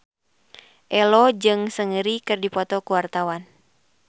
Ello jeung Seungri keur dipoto ku wartawan